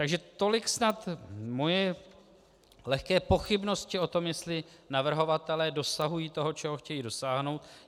Takže tolik snad moje lehké pochybnosti o tom, jestli navrhovatelé dosahují toho, čeho chtějí dosáhnout.